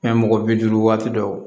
mɔgɔ bi duuru waati dɔw